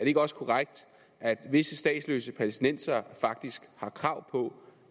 ikke også korrekt at visse statsløse palæstinensere faktisk har krav på